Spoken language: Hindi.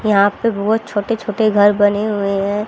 यहां पे बहोत छोटे छोटे घर बने हुए हैं।